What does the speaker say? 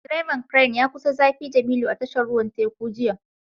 Direban Crane ya kusa zafi jemilu a tashar ruwan teku jiya